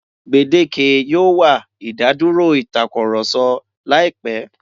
Gbèdéke yóò wà ìdádúrò ìtakurọ̀sọ láìpẹ́.